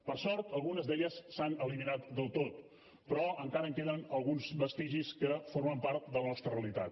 per sort algunes d’elles s’han eliminat del tot però encara en queden alguns vestigis que formen part de la nostra realitat